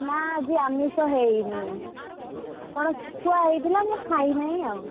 ନା ଆଜି ଆମିଷ ହେଇନି କଣ ଶୁଖୁଆ ହେଇଥିଲା ମୁ ଖାଇନାଇଁ ଆଉ।